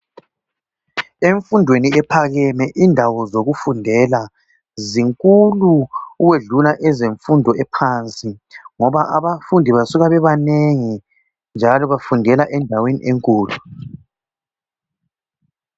Emfundweni ephakeme indawo zokufundela zinkulu ukwedlula ezemfundo ephansi ngoba abafundi basuka bebebanengi njalo bafundela endaweni enkulu.